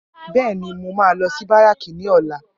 Bẹẹni, mo máa lọ sí báràkì ní ọ̀la